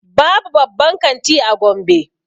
Babu babban kanti a gombe